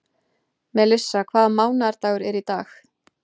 Melissa, hvaða mánaðardagur er í dag?